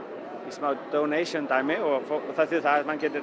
smá donation dæmi það þýðir það að maður getur